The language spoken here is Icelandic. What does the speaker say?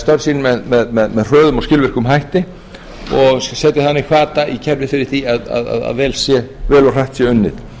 störf sín með hröðum og skilvirkum hætti og setji þannig hvata í kerfið fyrir því að vel og hratt sé unnið